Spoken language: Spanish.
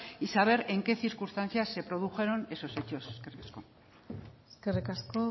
y saber en qué circunstancias se produjeron esos hechos eskerrik asko eskerrik asko